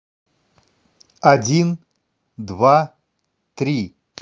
один два три